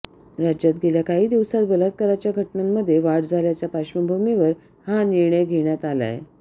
राज्यात गेल्या काही दिवसांत बलात्काराच्या घटनांमध्ये वाढ झाल्याच्या पार्श्वभूमीवर हा निर्णय घेण्यात आलाय